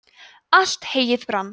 allt heyið brann